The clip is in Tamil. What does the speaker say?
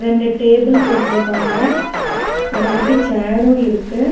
ரெண்டு டேபிள் போட்றுக்காங்க அத ஒட்டி சேரு இருக்கு.